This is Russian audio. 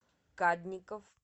кадников